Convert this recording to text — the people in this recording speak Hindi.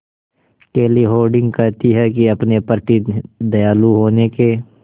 केली हॉर्डिंग कहती हैं कि अपने प्रति दयालु होने के